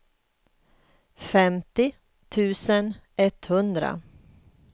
femtio tusen etthundra